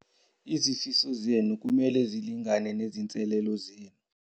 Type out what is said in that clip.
Izifiso zethu kumele zilingane nezinselele zethu.